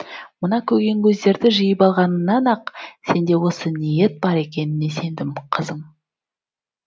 мына көгенкөздерді жиып алғаныңнан ақ сенде осы ниет бар екеніне сендім қызым